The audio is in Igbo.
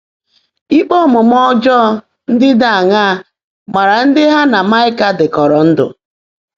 Íkpé ómuumé ọ́jọ́ọ́ ndị́ ḍị́ áṅaá máàrá ndị́ há nà Máịkà ḍị́kọ́rọ́ ndụ́?